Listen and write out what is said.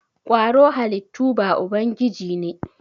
kwaro halittu ba ubangiji ne.